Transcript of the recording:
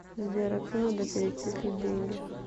сбер отцу надо перечислить деньги